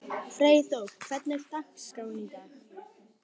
Freyþór, hvernig er dagskráin í dag?